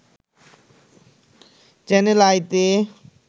channel আইতে